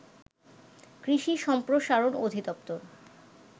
কৃষি সম্প্রসারণ অধিদপ্তর